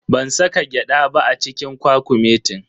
Ban saka gyada ba a cikin kwakumetin.